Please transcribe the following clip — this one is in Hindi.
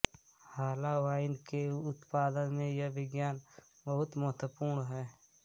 हाला वाइन के उत्पादन में यह विज्ञान बहुत महत्वपूर्ण है